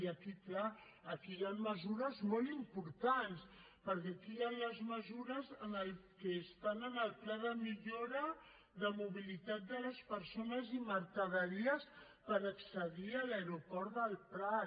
i aquí clar aquí hi han mesures molt importants perquè aquí hi han les mesures que estan en el pla de millora de mobilitat de les persones i mercaderies per accedir a l’aeroport del prat